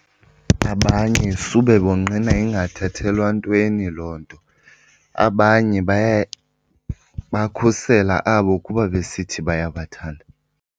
Abanye sube bonqena ingathathelwa ntweni loo nto. Abanye bakhusela abo kuba besithi bayabathanda.